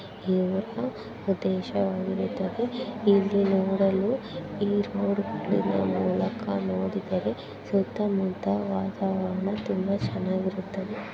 ಇವರ ಪ್ರದೇಶವಾಗಿರುತ್ತದೆ ಇಲ್ಲಿ ನೋಡಲು ಈ ರೋಡ್ಗಳಿನ ಮೂಲಕ ನೋಡಿದರೆ ಸುತ್ತ ಮುತ್ತ ವಾತಾವರಣ ತುಂಬಾ ಚೆನಾಗಿರುತ್ತದೆ.